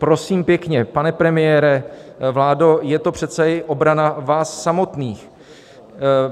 Prosím pěkně, pane premiére, vládo, je to přece i obrana vás samotných.